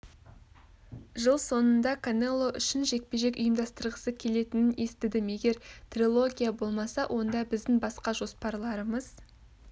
жыл соңында канело үшін жекпе-жек ұйымдастырғысы келетінін естідім егер трилогия болмаса онда біздің басқа жоспарларымыз